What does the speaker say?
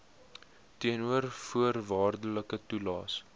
teenoor voorwaardelike toelaes